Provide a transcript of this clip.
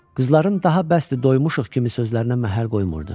Qızların daha bəsdir, doymuşuq kimi sözlərinə məhəl qoymurdu.